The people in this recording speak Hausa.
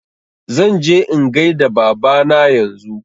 Zan je in gaida Baba na yanzu